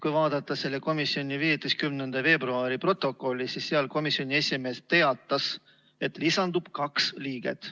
Kui vaadata selle komisjoni 15. veebruari protokolli, siis sealt selgub: komisjoni esimees teatas, et lisandub kaks liiget.